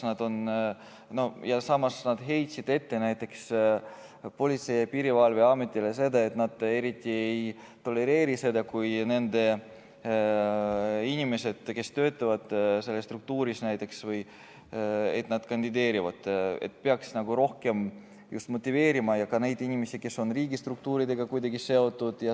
Samas heitsid nad ette näiteks Politsei- ja Piirivalveametile, et seal eriti ei tolereerita, kui inimesed, kes töötavad selles struktuuris, kandideerivad, et peaks rohkem just motiveerima ja motiveerima ka neid inimesi, kes on riigistruktuuridega kuidagi seotud.